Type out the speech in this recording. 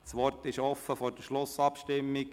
Das Wort ist offen vor der Schlussabstimmung.